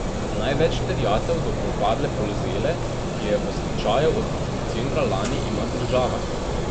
Največ terjatev do propadle Polzele, ki je v stečaju od decembra lani, ima država.